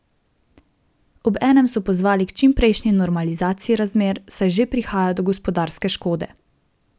Obenem so pozvali k čimprejšnji normalizaciji razmer ,saj že prihaja do gospodarske škode.